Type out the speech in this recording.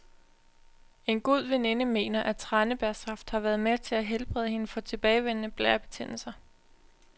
En god veninde mener, at tranebærsaft har været med til at helbrede hende for tilbagevendende blærebetændelser.